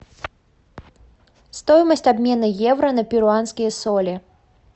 стоимость обмена евро на перуанские соли